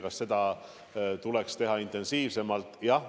Kas seda tuleks teha intensiivsemalt?